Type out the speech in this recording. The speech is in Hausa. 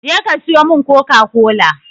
Je ka sayo min coca-cola!